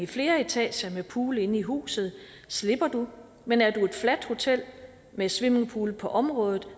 flere etager med pool inde i huset slipper man men er det et fladt hotel med swimmingpool på området